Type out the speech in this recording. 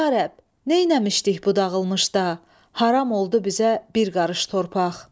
Ya Rəbb, neyləmişdik bu dağılmışda, haram oldu bizə bir qarış torpaq.